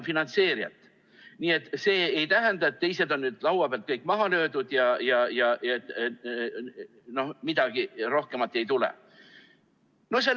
Nii et see ei tähenda, et teised on laua pealt kõik maha löödud ja midagi rohkem ei tule.